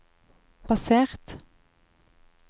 basert